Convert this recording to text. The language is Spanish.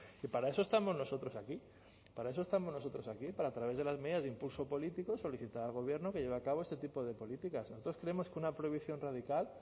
que para eso estamos nosotros aquí para eso estamos nosotros aquí para a través de las medidas de impulso político solicitar al gobierno que lleve a cabo este tipo de políticas nosotros creemos que una prohibición radical